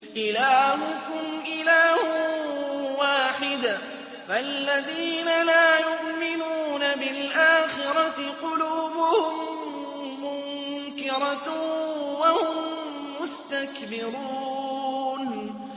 إِلَٰهُكُمْ إِلَٰهٌ وَاحِدٌ ۚ فَالَّذِينَ لَا يُؤْمِنُونَ بِالْآخِرَةِ قُلُوبُهُم مُّنكِرَةٌ وَهُم مُّسْتَكْبِرُونَ